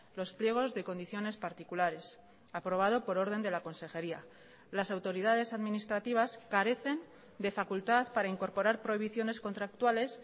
los pliegos de condiciones particulares aprobado por orden de la consejería las autoridades administrativas carecen de facultad para incorporar prohibiciones contractuales